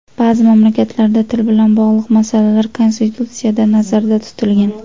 Ba’zi mamlakatlarda til bilan bog‘liq masalalar konstitutsiyada nazarda tutilgan.